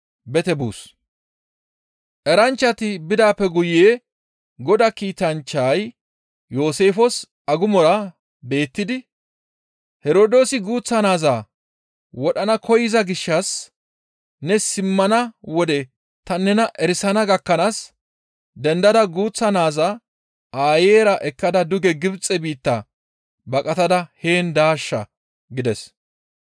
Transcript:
Eranchchati bidaappe guye Godaa kiitanchchay Yooseefes agumora beettidi, «Herdoosi guuththa naaza wodhana koyza gishshas ne simmana wode ta nena erisana gakkanaas dendada guuththa naaza aayeyra ekkada duge Gibxe biitta baqatada heen daashsha» gides.